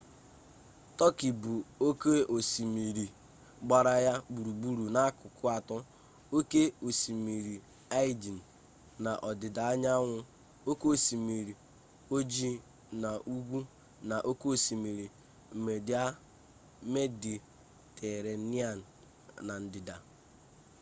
tọkị bụ oke osimiri gbara ya gburugburu n'akụkụ atọ oke osimiri aegean n'ọdịdaanyanwụ oke osimiri ojii n'ugwu na oke osimiri mediterranean na ndịda